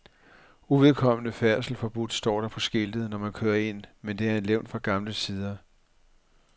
Uvedkommende færdsel forbudt står der på skiltet, når man kører ind, men det er et levn fra gamle tider.